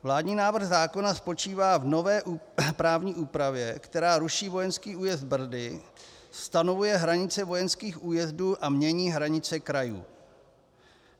Vládní návrh zákona spočívá v nové právní úpravě, která ruší vojenský újezd Brdy, stanovuje hranice vojenských újezdů a mění hranice krajů.